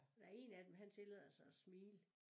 Der én af dem han tillader sig at smile